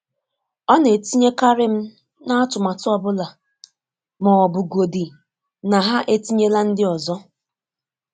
ọ na etinye karị m na-atụmatu ọbụla, ma ọbụ gọdi na ha etinyela ndi ọzọ.